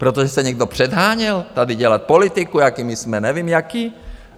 Protože se někdo předháněl tady dělat politiku, jací my jsme, nevím, jací?